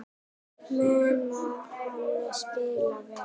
Mun hann spila vel?